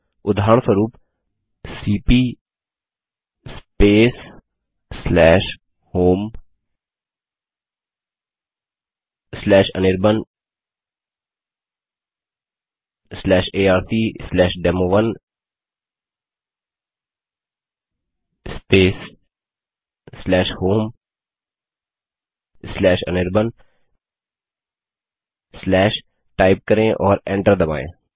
उदाहरणस्वरूप cp homeanirbanarcdemo1 homeanirban type करें और एंटर दबायें